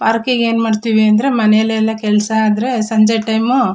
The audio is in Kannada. ಪಾರ್ಕಿಗೆ ಏನ್ ಮಾಡತ್ತಿವಿ ಅಂದ್ರೆ ಮನೆಲೆಲ್ಲಾ ಕೆಲಸ ಆದ್ರೆ ಸಂಜೆ ಟೈಮು .